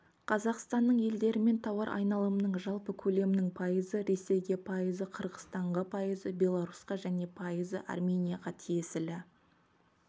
қазақстанның елдерімен тауар айналымының жалпы көлемінің пайызы ресейге пайызы қырғызстанға пайызы беларусьқа және пайызы арменияға тиесілі